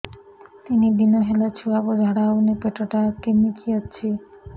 ତିନି ଦିନ ହେଲା ଛୁଆକୁ ଝାଡ଼ା ହଉନି ପେଟ ଟା କିମି କି ଅଛି